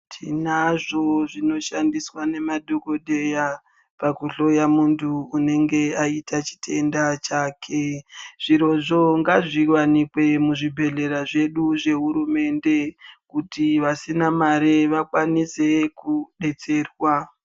Tinazvo zvinoshandiswa nemadhokodheya pakuhloya muntu unenge aita chitenda chake. Zvirozvo ngazviwanikwe muzvibhehlera zvedu zvehurumende kuti vasina mari vakwanise kudetserwa.